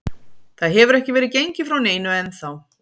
Það hefur ekki verið gengið frá neinu ennþá.